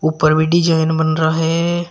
ऊपर भी डिजाइन बन रहा है।